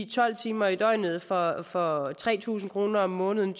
tolv timer i døgnet for for tre tusind kroner om måneden